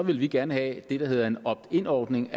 vil vi gerne have det der hedder en opt in ordning